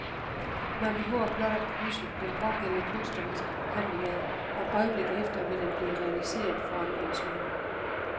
Man behøver blot at krydse den pågældende kunstneriske handling af, og et øjeblik efter vil den blive realiseret foran ens øjne.